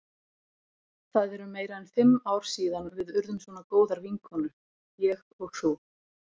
Það eru meira en fimm ár síðan við urðum svona góðar vinkonur, ég og þú.